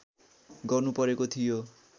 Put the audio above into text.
गर्नु परेको थियो